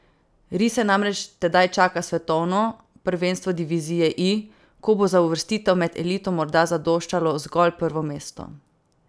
Rise namreč tedaj čaka svetovno prvenstvo divizije I, ko bo za uvrstitev med elito morda zadoščalo zgolj prvo mesto.